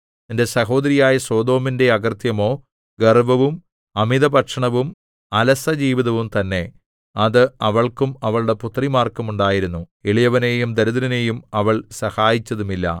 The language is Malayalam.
നിന്റെ സഹോദരിയായ സൊദോമിന്റെ അകൃത്യമോ ഗർവ്വവും അമിതഭക്ഷണവും അലസജീവിതവും തന്നെ അത് അവൾക്കും അവളുടെ പുത്രിമാർക്കും ഉണ്ടായിരുന്നു എളിയവനെയും ദരിദ്രനെയും അവൾ സഹായിച്ചതുമില്ല